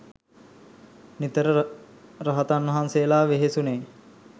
නිතර රහතන් වහන්සේලා වෙහෙසුනේ.